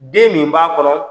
Den min b'a kɔnɔ,